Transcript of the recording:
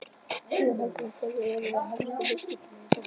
Guðjón Helgason: Hverjir eru þá helstu viðskiptavinir bankans?